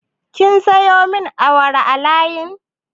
Kin sayo min wara a layi?